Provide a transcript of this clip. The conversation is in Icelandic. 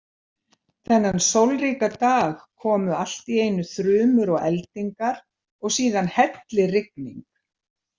Þennan sólríka dag komu allt í einu þrumur og eldingar og síðan hellirigning.